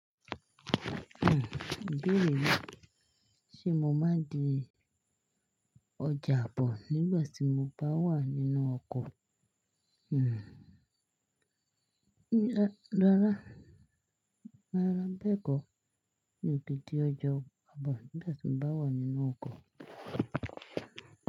Hmm, ibéère yin, ṣé mo máa di ọ̀jà àbọ̀ nígbà tí mo bá wà nínú ọkọ̀? Hmm, rárá, rárá, bẹ́ẹ̀ kọ́, mi ò lè di ọjà àbọ̀ nígbà tí mo bá wà nínú ọkọ̀